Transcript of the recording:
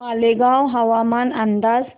मालेगाव हवामान अंदाज